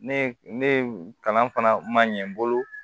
Ne ye ne kalan fana ma ɲɛ n bolo